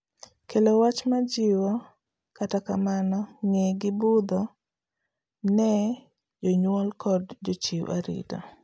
kelo wach ma jiwo kata kamano knge gi budho ne jonyuol kod jochiw arita